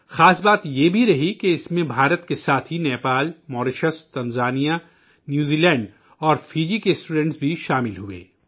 خاص بات یہ بھی رہی کہ اس میں بھارت کے ساتھ ہی Nepal, Mauritius, Tanzania, New Zealand اور فجی کے طلبا بھی شامل ہوئے